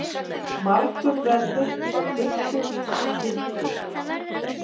Margur verður á gullinu ginntur.